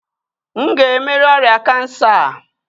M ga-emeri ọrịa kansa a?